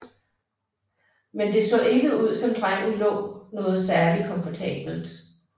Men det så ikke ud som drengen lå noget særlig komfortabelt